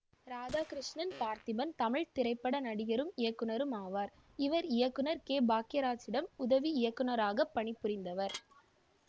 இராதாகிருஷ்ணன் பார்த்திபன் தமிழ் திரைப்பட நடிகரும் இயக்குனரும் ஆவார் இவர் இயக்குனர் கே பாக்கியராச்சிடம் உதவி இயக்குனராக பணி புரிந்தவர்